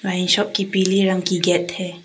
Wine shop की पीले रंग की गेट है।